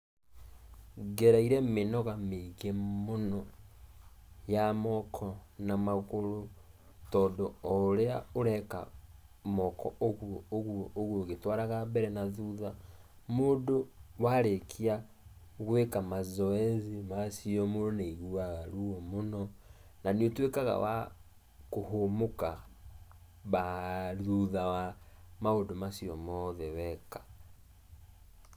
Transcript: Ngereire mĩnoga mĩingĩ mũno, ya moko, na magũrũ, tondũ o ũrĩa ũreka, moko ũguo ũguo ũguo ũgĩtũaraga mbere na thutha, mũndũ warĩkia, gũĩka mazoezi macio mũndũ nĩaigua ruo mũno, na nĩũtuĩkaga wa kũhũmũka, thutha wa maũndũ macio mothe weka.